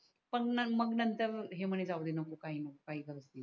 पण मग नंतर हे म्हणे जाऊदे नको काही नकोकाही गरज नाही